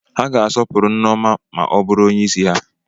Ha ga-asọpụrụ Nneoma ma ọ bụrụ onyeisi ha.